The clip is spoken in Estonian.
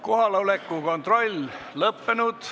Kohaloleku kontroll Kohaloleku kontroll on lõppenud.